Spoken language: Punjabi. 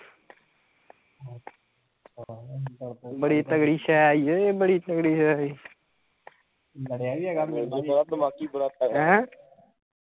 ਬੜੀ ਤਕੜੀ ਸਹਿ ਈ ਓਏ ਬੜੀ ਤਕੜੀ ਸਹਿ ਈ